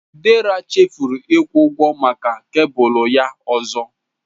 Dera chefuru ịkwụ ụgwọ maka kebụlụ ya ọzọ.